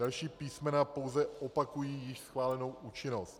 Další písmena pouze opakují již schválenou účinnost.